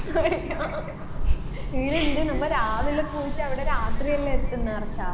ഈടുണ്ട് നമ്മ രാവിലെ പോയിട്ട് അവിടെ രാത്രിയല്ലേ എത്തുന്ന് അർഷാ